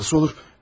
Canım necə olur?